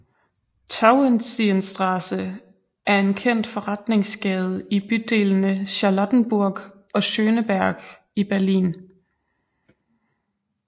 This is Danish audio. Tauentzienstraße er en kendt forretningsgade i bydelene Charlottenburg og Schöneberg i Berlin